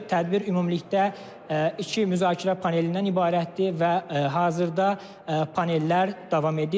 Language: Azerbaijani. Tədbir ümumilikdə iki müzakirə panelindən ibarətdir və hazırda panellər davam edir.